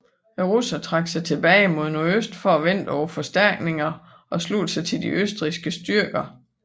Russerne trak sig tilbage mod nordøst for at vente på forstærkninger og slutte sig til de østrigske styrker